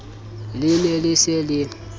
le ne le se le